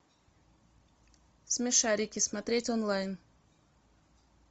смешарики смотреть онлайн